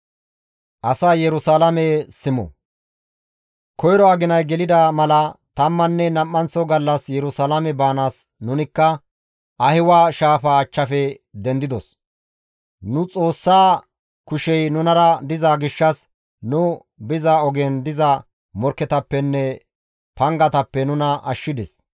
Koyro aginay gelida mala tammanne nam7anththo gallas Yerusalaame baanaas nunikka Ahiwa shaafa achchafe dendidos; nu Xoossaa kushey nunara diza gishshas nu biza ogen diza morkketappenne pangatappe nuna ashshides.